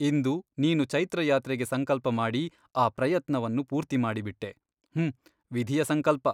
ಇಂದು ನೀನು ಚೈತ್ರಯಾತ್ರೆಗೆ ಸಂಕಲ್ಪಮಾಡಿ ಆ ಪ್ರಯತ್ನವನ್ನು ಪೂರ್ತಿ ಮಾಡಿಬಿಟ್ಟೆ ಹುಂ ವಿಧಿಯ ಸಂಕಲ್ಪ.